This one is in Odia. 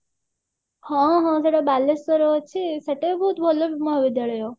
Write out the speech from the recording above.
ହଁ ହଁ ସେଟା ବାଲେଶ୍ଵର ରେ ଅଛି ସେଟା ବି ବହୁତ ଭଲ ମହାବିଦ୍ୟାଳୟ